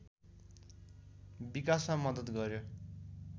विकासमा मद्दत गर्‍यो